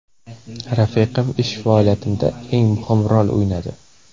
Rafiqam ish faoliyatimda eng muhim rol o‘ynadi.”